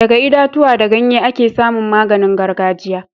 Daga itatuwa da ganye ake samun maganin gargajiya